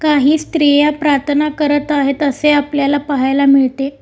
काही स्त्रिया प्रार्थना करत आहेत असे आपल्याला पाहायला मिळते.